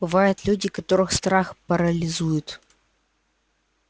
бывают люди которых страх парализует